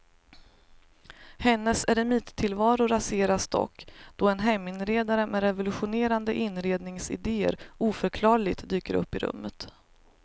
Hennes eremittillvaro raseras dock då en heminredare med revolutionerande inredningsidéer oförklarligt dyker upp i rummet.